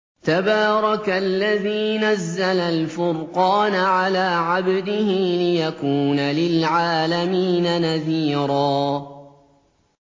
تَبَارَكَ الَّذِي نَزَّلَ الْفُرْقَانَ عَلَىٰ عَبْدِهِ لِيَكُونَ لِلْعَالَمِينَ نَذِيرًا